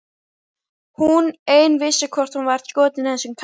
Hún ein vissi hvort hún var skotin í þessum kalli.